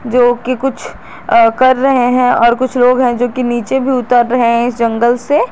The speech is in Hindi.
जो कि कुछ अ कर रहे हैं और कुछ लोग हैं जो कि नीचे भी उतर रहे है इस जंगल से।